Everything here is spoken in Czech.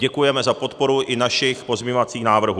Děkujeme za podporu i našich pozměňovacích návrhů.